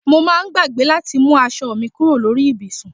Mo máa ń gbàgbé láti mú aṣọ mi kúrò lórí ibùsùn